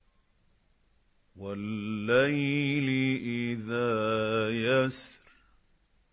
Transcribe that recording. وَاللَّيْلِ إِذَا يَسْرِ